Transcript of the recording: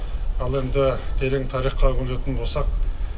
ал енді терең тарихқа үңілетін болсақ